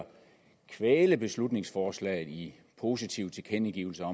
kvæle beslutningsforslaget i positive tilkendegivelser